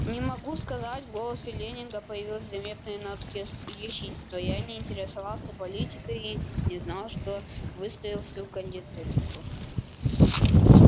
не могу сказать в голосе лэннинга появились заметные нотки ехидства я не интересовался политикой и не знал что выставил всю кандидатуру